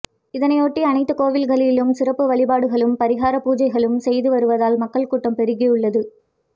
இதனையொட்டி அனைத்து கோயில்களிலும் சிறப்பு வழிபாடுகளும் பரிகார பூஜைகளும் செய்து வருவதால் மக்கள் கூட்டம் பெருகி உள்ளது